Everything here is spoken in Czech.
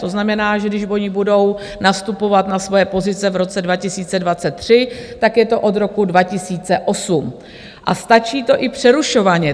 To znamená, že když oni budou nastupovat na svoje pozice v roce 2023, tak je to od roku 2008 a stačí to i přerušovaně.